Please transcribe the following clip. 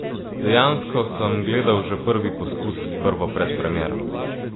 Dejansko sem gledal že prvi poskus, prvo predpremiero.